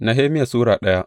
Nehemiya Sura daya